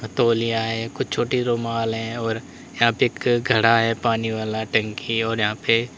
अ तौलियाँ हैं। कुछ छोटी रुमाल है और यहां पे एक घड़ा है पानी वाला टंकी और यहां पे --